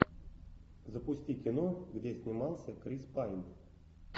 запусти кино где снимался крис пайн